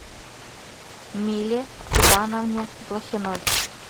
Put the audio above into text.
миле ивановне блохиной